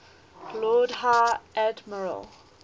lord high admiral